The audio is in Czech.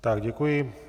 Tak děkuji.